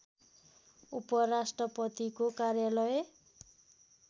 उपराष्ट्रपतिको कार्यालय